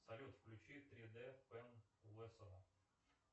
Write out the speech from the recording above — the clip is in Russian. салют включи тридэ пен лоссома